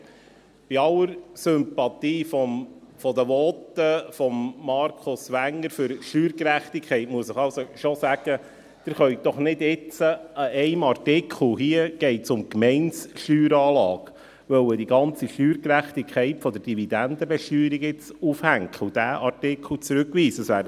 Bei aller Sympathie für die Voten von Markus Wenger zur Steuergerechtigkeit, muss ich Ihnen schon sagen, dass Sie jetzt doch nicht die ganze Steuergerechtigkeit der Dividendenbesteuerung daran aufhängen und diesen Artikel zurückweisen können.